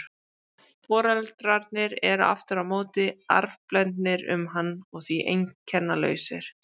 Foreldrarnir eru aftur á móti arfblendnir um hann og því einkennalausir.